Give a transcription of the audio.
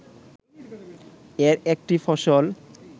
এর একটি ফসল